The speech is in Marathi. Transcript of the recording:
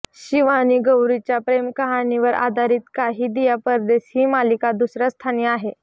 शिव आणि गौरीच्या प्रेमकहाणीवर आधारित काहे दिया परदेस ही मालिका दुसऱ्या स्थानी आहे